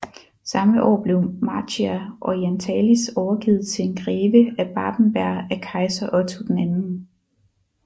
Samme år blev Marchia Orientalis overgivet til en greve af Babenberg af kejser Otto II